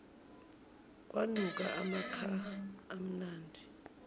kwanuka amakha amnandi